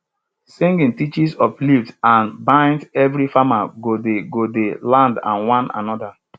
singing teaches uplifts and binds everi farmer go di go di land and one anoda